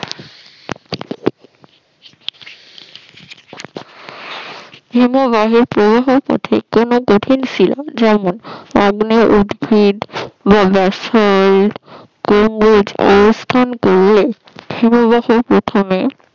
হিমবাহের প্রবাহের পথে কোন কঠিন শিলা যেমন আগ্নেয় বা ব্যাসাল্ট কোন অবস্থান করলে হিমবাহ প্রথমে